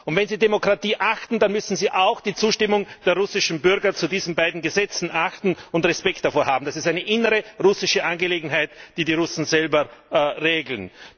Wenn Sie Demokratie achten, dann müssen Sie auch die Zustimmung der russischen Bürger zu diesen beiden Gesetzen achten und Respekt davor haben. Das ist eine innere russische Angelegenheit, die die Russen selber regeln.